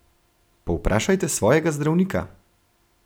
Povprašajte svojega zdravnika!